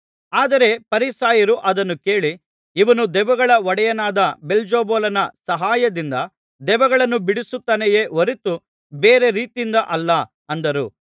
ಆದರೆ ಫರಿಸಾಯರು ಅದನ್ನು ಕೇಳಿ ಇವನು ದೆವ್ವಗಳ ಒಡೆಯನಾದ ಬೆಲ್ಜೆಬೂಲನ ಸಹಾಯದಿಂದ ದೆವ್ವಗಳನ್ನು ಬಿಡಿಸುತ್ತಾನೆಯೇ ಹೊರತು ಬೇರೆ ರೀತಿಯಿಂದ ಅಲ್ಲ ಅಂದರು